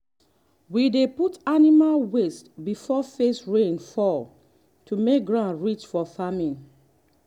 we dey put animal waste before first rain fall to make ground rich for farming.